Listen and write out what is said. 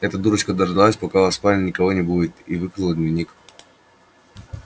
эта дурочка дождалась пока у вас в спальне никого не будет и выкрала дневник